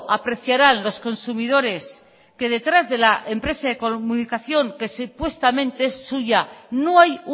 apreciarán los consumidores que detrás de la empresa de telecomunicación que supuestamente es suya no hay